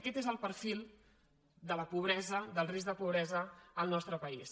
aquest és el perfil de la pobresa del risc de pobresa al nostre país